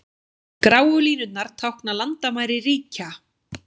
Gráu línurnar tákna landamæri ríkja.